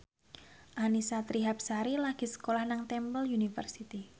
Annisa Trihapsari lagi sekolah nang Temple University